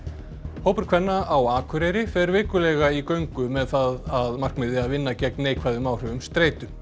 hópur kvenna á Akureyri fer vikulega í göngu með það að markmiði að vinna gegn neikvæðum áhrifum streitu